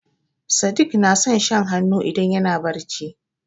Sadik na son shan hannu idan yana barci.